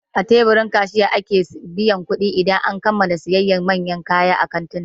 A teburin kasiyha ake biyan kuɗi idan an gama siyayya a manyan kantuna